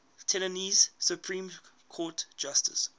tennessee supreme court justices